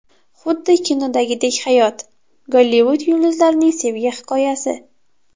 Xuddi kinodagidek hayot: Gollivud yulduzlarining sevgi hikoyasi.